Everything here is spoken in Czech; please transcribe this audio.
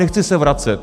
Nechci se vracet.